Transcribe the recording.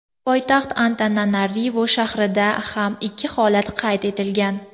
Poytaxt Antananarivu shahrida ham ikki holat qayd etilgan.